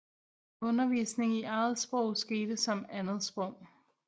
Undervisning i eget sprog skete som andet sprog